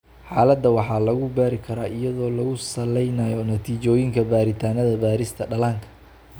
Xaaladda waxaa lagu baari karaa iyadoo lagu salaynayo natiijooyinka baaritaannada baarista dhallaanka.